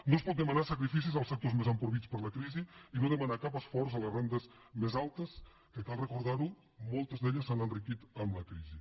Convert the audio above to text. no es pot demanar sacrificis als sectors més empobrits per la crisi i no demanar cap esforç a les rendes més altes que cal recordar ho moltes d’elles s’han enriquit amb la crisi